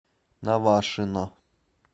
навашино